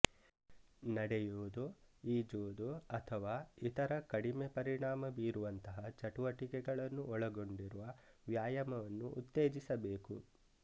ನಡೆಯುವುದು ಈಜುವುದು ಅಥವಾ ಇತರ ಕಡಿಮೆ ಪರಿಣಾಮ ಬೀರುವಂತಹ ಚಟುವಟಿಕೆಗಳನ್ನು ಒಳಗೊಂಡಿರುವ ವ್ಯಾಯಾಮವನ್ನು ಉತ್ತೇಜಿಸಬೇಕು